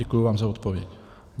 Děkuji vám za odpověď.